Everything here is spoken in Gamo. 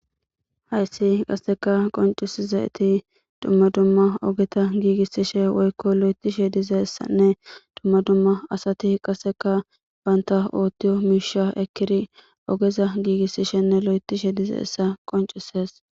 hayssi qasseka qoncisizayeti dumma dumma ogeta giigissishe woykko lo'etishe dizassanne dumma dumma asati qasseka baynta oottiyo miisha ekiri ogeza giigissishenne lo'etishe dizayissa qoncisees